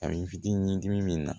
A bɛ n fitinin dimi min na